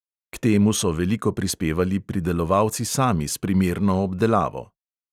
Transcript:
K temu so veliko prispevali pridelovalci sami s primerno obdelavo.